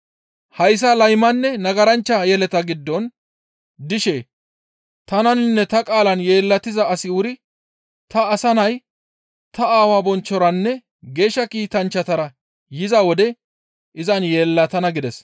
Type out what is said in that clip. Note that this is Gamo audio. «Hayssa laymanne nagaranchcha yeleta giddon dishe tananinne ta qaalan yeellatiza asi wuri ta Asa Nay ta Aawaa bonchchoranne Geeshsha Kiitanchchatara yiza wode izan yeellatana» gides.